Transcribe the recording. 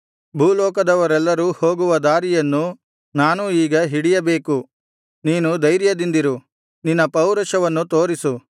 ಭೂಲೋಕದವರೆಲ್ಲರೂ ಹೋಗುವ ದಾರಿಯನ್ನು ನಾನೂ ಈಗ ಹಿಡಿಯಬೇಕು ನೀನು ಧೈರ್ಯದಿಂದಿರು ನಿನ್ನ ಪೌರುಷವನ್ನು ತೋರಿಸು